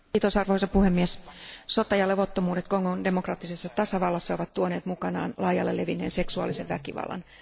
Arvoisa puhemies, sota ja levottomuudet Kongon demokraattisessa tasavallassa ovat tuoneet mukanaan laajalle levinneen seksuaalisen väkivallan.